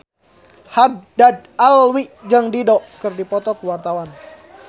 Haddad Alwi jeung Dido keur dipoto ku wartawan